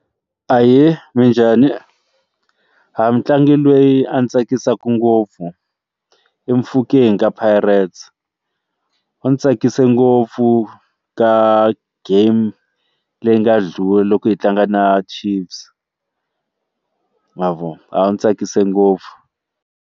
Ahee, minjhani? mutlangi loyi a ndzi tsakisaka ngopfu i Mofokeng ka Pirates u ndzi tsakise ngopfu ka game leyi nga ndlula loko hi tlanga na Chiefs ma vo u ni tsakise ngopfu.